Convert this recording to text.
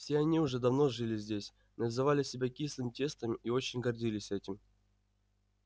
все они уже давно жили здесь называли себя кислым тестом и очень гордились этим